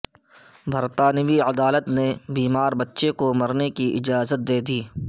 برطانوی عدالت نے بیمار بچے کو مرنے کا اجازت دے دی